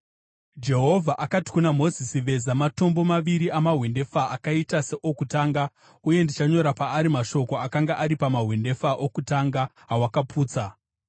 Jehovha akati kuna Mozisi, “Veza matombo maviri amahwendefa akaita seokutanga, uye ndichanyora paari mashoko akanga ari pamahwendefa okutanga, awakaputsa.